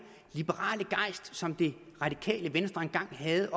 liberale gejst som det radikale venstre engang havde